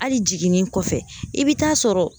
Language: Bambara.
Hali jiginni kɔfɛ,i bɛ taa sɔrɔ